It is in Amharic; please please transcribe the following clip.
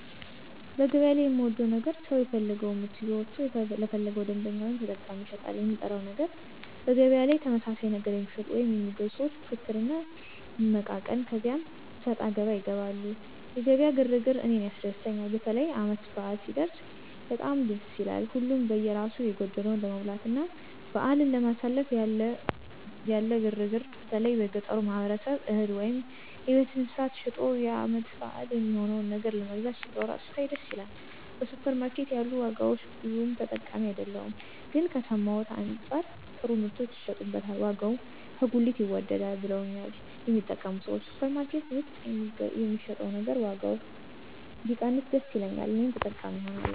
በገበያ ላይ የምወደው ነገር ሰው የፈለገወን ምርት ይዞ ወጥቶ ለፈለገው ደንበኛ ወይም ተጠቃሚ ይሸጣል። የምጠላው ነገር በገበያ ላይ ተመሳሳይ ነገር የሚሸጡ ወይም የሚገዙ ሰዎች ፍክክር እና መመቃቀን ከዚያ አሰጣገባ ይገባሉ። የገበያ ግር ግር እኔን ያስደስተኛል። በተለይ ዓመት በዓል ሲደረስ በጣም ደስ ይላል። ሀሉም በየራሱ የጎደለውን ለመሙላትና በዓልን ለማሳለፍ ያለ ግር ግር በተለይ የገጠሩ ማህበረሰብ እህል ወይም የቤት እንስሳት ሸጦ የዓመት በዓል የሚሆነውን ነገር ለመግዛት ሲሯሯጥ ስታይ ደስ ይላል። በሱፐር ማርኬት ያሉ ዋጋዎች ብዙም ተጠቃሚ አይደለሁም ግን ከሰማሁት አንጻር ጥሩ ምርቶች ይሸጡበታል ዋጋውም ከጉሊት ይወደዳል ብለውኛል የሚጠቀሙ ሰዎች። ሱፐር ማርኬት ውስጥ የሚሸጥ ነገር ዋጋው ቢቀንስ ደስ ይለኛል እኔም ተጠቃሚ እሆናለሁ።